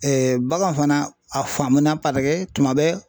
bagan fana a faamuna tuma bɛɛ.